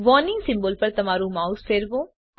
warning symbol પર તમારું mouse ફેરવો